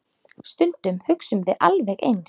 Stundum hugsum við alveg eins.